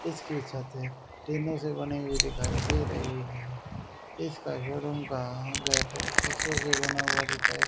इसकी छत हैं टीनों से बनी हुई दिखाई दे रही है इसका शोरूम का गेट शीशों से बना हुआ दिखाई--